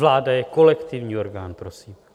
Vláda je kolektivní orgán, prosím.